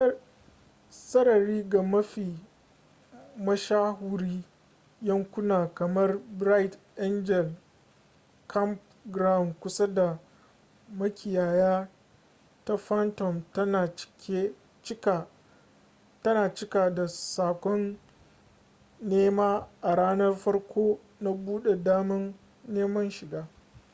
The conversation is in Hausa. sarari ga mafi mashahuri yankuna kamar bright angel campground kusa da makiyaya ta phantom tana cika da sakon nema a ranan farko na bude daman neman shiga